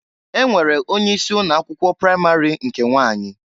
E nwere onye isi ụnọ akwụkwọ pramari nke nwanyị.